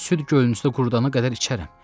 Süd gölünüzü qurudana qədər içərəm.